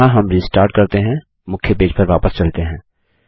यहाँ हम रिस्टार्ट करते हैं मुख्य पेज पर वापस चलते हैं